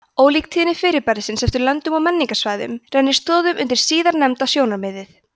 ólík tíðni fyrirbærisins eftir löndum og menningarsvæðum rennir stoðum undir síðarnefnda sjónarmiðið